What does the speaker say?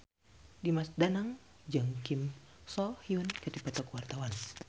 Dimas Danang jeung Kim So Hyun keur dipoto ku wartawan